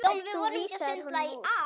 Þú vísaðir honum út.